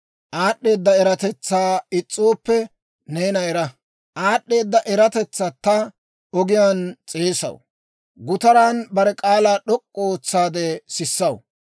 Aad'd'eeda eratetsatta ogiyaan s'eesaw; gutaran bare k'aalaa d'ok'k'u ootsaade sissaw.